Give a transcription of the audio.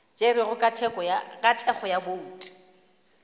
tšerwego ka thekgo ya bouto